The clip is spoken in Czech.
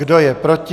Kdo je proti?